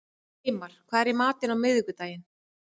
Reimar, hvað er í matinn á miðvikudaginn?